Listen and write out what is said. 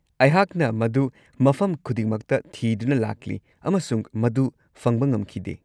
ꯑꯩꯍꯥꯛꯅ ꯃꯗꯨ ꯃꯐꯝ ꯈꯨꯗꯤꯡꯃꯛꯇ ꯊꯤꯗꯨꯅ ꯂꯥꯛꯂꯤ ꯑꯃꯁꯨꯡ ꯃꯗꯨ ꯐꯪꯕ ꯉꯝꯈꯤꯗꯦ꯫